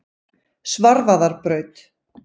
Svarfaðarbraut